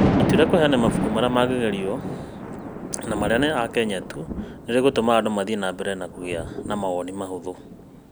ĩtua rĩa kũheana mabuku marĩa mangĩgerio no aria ma a Kenya tu nĩ rĩgũtũma andũ mathiĩ na mbere kũgĩa na mawoni mahũthũ.